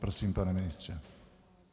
Prosím, pane ministře.